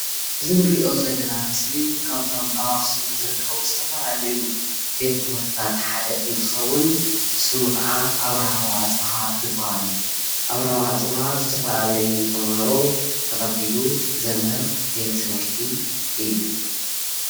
እዚ ንሪኦ ዘለና ምስሊ ካብቶም ኣክሱም ዝርከቡ ዝተፈላለዩ ቤት ትምህርትታት ሓደ እንትከውን ሹሙ ከዓ ኣብርሃ ወኣፅበሃ ዝበሃል እዩ። ኣብርሃ ወኣፅብሃ ዝተፈላለዩ ተምሃሮ ተቀቢሉ ዘምህር ቤት ትምህርቲ እዩ።